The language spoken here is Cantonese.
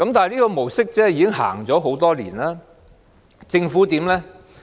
這個模式已經落實很多年，而政府怎樣呢？